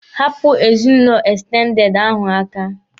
Hapụ ezinụlọ ekstendede ahụ aka!